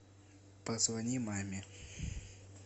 позвони маме